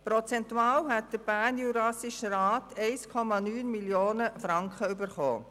Prozentual hätte der Bernjurassische Rat 9 Mio. Franken erhalten.